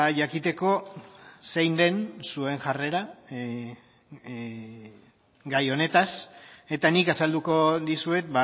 jakiteko zein den zuen jarrera gai honetaz eta nik azalduko dizuet